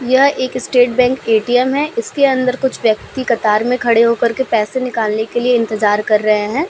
यह एक State Bank ATM. है इसके अंदर कुछ व्यक्ति कतार में खड़े हो कर के पैसा निकलने के लिए इंतज़ार कर रहे हैं।